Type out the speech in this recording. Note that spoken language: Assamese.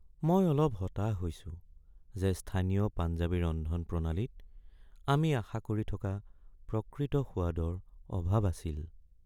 মই অলপ হতাশ হৈছো যে স্থানীয় পঞ্জাবী ৰন্ধনপ্ৰণালীত আমি আশা কৰি থকা প্ৰকৃত সোৱাদৰ অভাৱ আছিল।